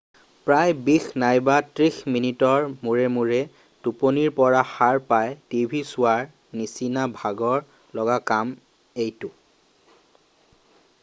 প্ৰায় বিশ নাইবা ত্ৰিশ মিনিটৰ মূৰে মূৰে টোপনিৰ পৰা সাৰ পাই টিভি চোৱাৰ নিচিনা ভাগৰ লগা কাম এইটো